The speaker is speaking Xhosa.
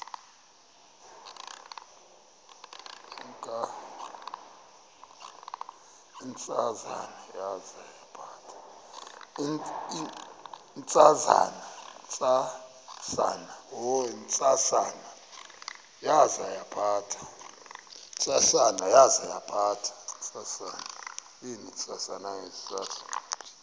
ntsasana yaza yaphatha